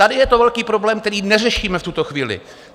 Tady je to velký problém, který neřešíme v tuhle chvíli.